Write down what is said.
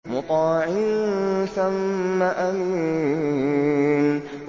مُّطَاعٍ ثَمَّ أَمِينٍ